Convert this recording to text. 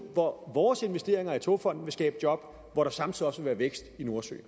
hvor vores investeringer i togfonden skabe job og hvor der samtidig også vil være vækst i nordsøen